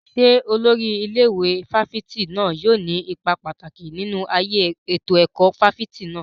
Ṣé olórí ilé ìwé fáfitì náà yóò ní ipa pàtàkì nínú ayé ètò ẹ̀kọ́ fáfitì náà?